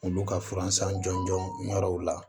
Olu ka furansan jɔnjɔnw la